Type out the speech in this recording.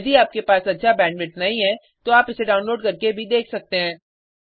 यदि आपके पास अच्छा बैंडविड्थ नहीं है तो आप इसे डाउनलोड करके देख सकते हैं